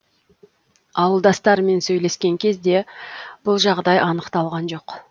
ауылдастарымен сөйлескен кезде бұл жағдай анықталған жоқ